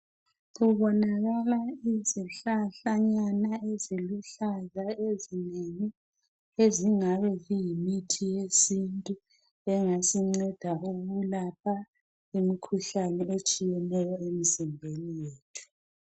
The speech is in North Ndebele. kubonakala izihlahlanyana eziluhlaza ezinengi ezingabe ziyimithi yesintu engasinceda ukulapha imikhuhlane eminengi etshiyeneyo emzimbeni yethu